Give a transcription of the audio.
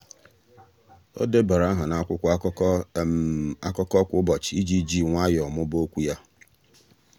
ọ́ débara áhà n’ákwụ́kwọ́ ákụ́kọ́ ákụ́kọ́ kwa ụ́bọ̀chị̀ iji jì nwayọ́ọ́ mụ́ba okwu ya.